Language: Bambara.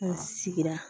N sigira